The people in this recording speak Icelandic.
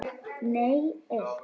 Nei eitt.